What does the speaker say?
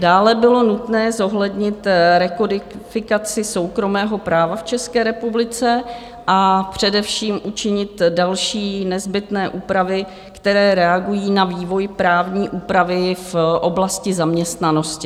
Dále bylo nutné zohlednit rekodifikaci soukromého práva v České republice a především učinit další nezbytné úpravy, které reagují na vývoj právní úpravy v oblasti zaměstnanosti.